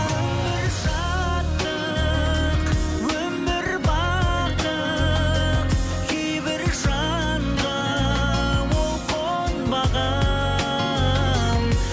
өмір шаттық өмір бақыт кейбір жанға ол қонбаған